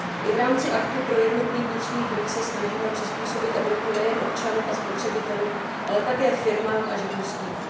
I v rámci aktu pro jednotný vnitřní trh se snažíme přizpůsobit Evropu nejen občanům a spotřebitelům, ale také firmám a živnostníkům.